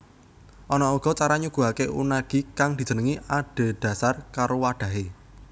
Ana uga cara nyuguhake unagi kang dijenengi adhedhasar karo wadhahe